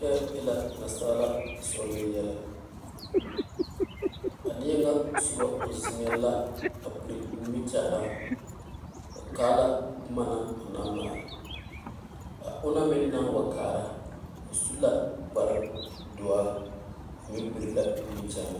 Kyɛ e la naansaala sɔɔloŋ yɛlɛ a neɛ ŋa soba are la a perɛ nimie kyɛne o kaala boma o naŋ male o naŋ meŋ naŋ wa kaare wa are la kaare o meŋ perɛ la nimiekyɛne.